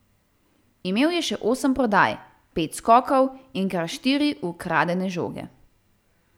Imel je še osem podaj, pet skokov in kar štiri ukradene žoge.